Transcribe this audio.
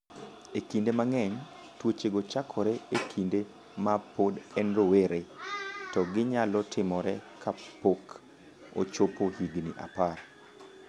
Kinde mang’eny, tuochego chakore e kinde ma pod en rowere, to ginyalo timore kapok ochopo higni 10.